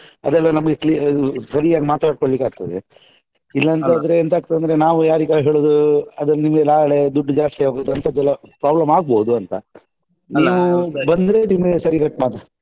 ಅದೆಲ್ಲಾ ನಮಿಗೆ cle~ ಸರಿಯಾಗಿ ಮಾತಾಡ್ಕೊಳ್ಳಲಿಕ್ಕೆ ಆಗ್ತದೆ ಇಲ್ಲಾಂತಾದ್ರೆ ಎಂತಾಗ್ತದೆ ಅಂದ್ರೆ ನಾವು ಯಾರಿಗಾ ಹೇಳುದು ಅದು ನಿಮ್ಗೆ ನಾಳೆ ದುಡ್ಡು ಜಾಸ್ತಿ ಆಗುದು ಅಂತದೆಲ್ಲಾ problem ಆಗ್ಬೋದು ಅಂತ ನೀವು ಬಂದ್ರೆ ನಿಮ್ಗೆ ಸರಿಕಟ್ .